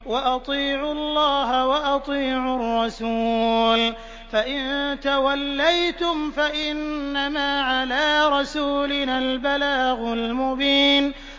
وَأَطِيعُوا اللَّهَ وَأَطِيعُوا الرَّسُولَ ۚ فَإِن تَوَلَّيْتُمْ فَإِنَّمَا عَلَىٰ رَسُولِنَا الْبَلَاغُ الْمُبِينُ